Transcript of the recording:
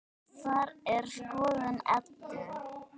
Það er skoðun Eddu.